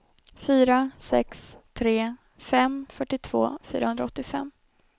fyra sex tre fem fyrtiotvå fyrahundraåttiofem